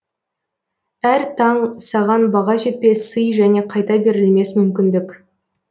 әр таң саған баға жетпес сый және қайта берілмес мүмкіндік